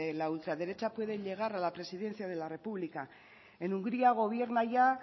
la ultraderecha puede llegar a la presidencia de la república en hungría gobierna ya